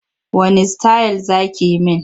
Wanne sitayil za ki yi min?